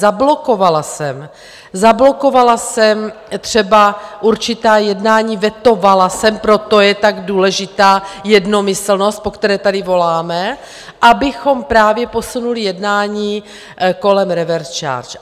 Zablokovala jsem, zablokovala jsem třeba určitá jednání, vetovala jsem, proto je tak důležitá jednomyslnost, po které tady voláme, abychom právě posunuli jednání kolem reverse charge.